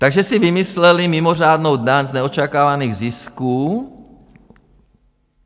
Takže si vymysleli mimořádnou daň z neočekávaných zisků.